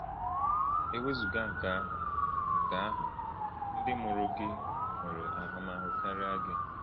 E wezụga nke ahụ, nke ahụ, ndị mụrụ gị nwere ahụmahụ karịa gị.